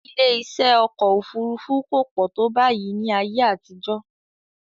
Ilé-iṣẹ́ ọkọ̀ òfurufú kò pọ̀ tó báyìí ní ayé àtijọ́